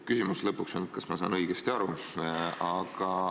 Küsimus on see, kas ma saan õigesti aru.